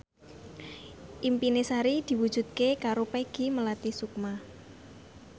impine Sari diwujudke karo Peggy Melati Sukma